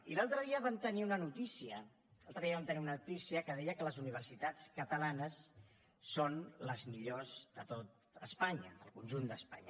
i l’altre dia vam tenir una notícia l’altre dia vam tenir una notícia que deia que les universitats catalanes són les millors de tot espanya del conjunt d’espanya